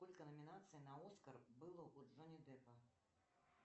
сколько номинаций на оскар было у джонни деппа